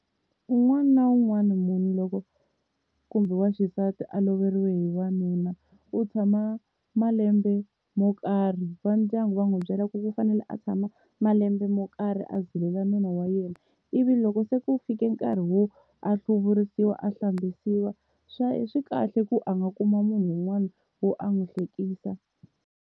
Un'wana na un'wana munhu loko kumbe wa xisati a loveriwe hi wanuna u tshama malembe mo karhi va ndyangu va n'wi byela ku u fanele a tshama malembe mo karhi a zilela nuna wa yena, ivi loko se ku fike nkarhi wo a hluvurisiwa a hlambisiwa swi kahle ku a nga kuma munhu un'wani wo a n'wi hlekisa.